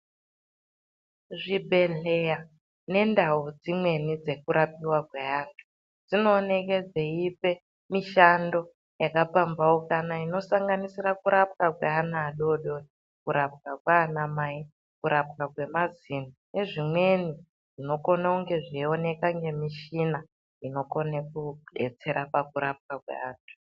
Zvibhedhlera nendau dzimweni dzekurapiwa kweantu dzinooneka dzeite mushando yakapambanuka inosanganisira kurapwa kweana adodori kurapwa kana mai kurapwa kwemazino nezvimweni zvinokone kunge zveioneka nemichina inokona kudetsera pakurapwa kweantu.